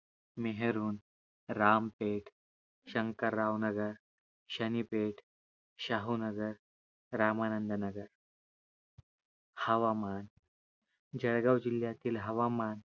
मेहरूण, रामपेठ, शंकरराव नगर, शनिपेठ, शाहूनगर, रामानंद नगर हवामान, जळगाव जिल्ह्यातील हवामान